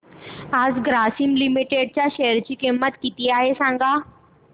आज ग्रासीम लिमिटेड च्या शेअर ची किंमत किती आहे सांगा